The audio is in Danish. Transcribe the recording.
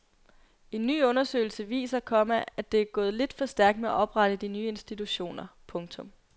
En ny undersøgelse viser, komma at det er gået lidt for stærkt med at oprette de nye institutioner. punktum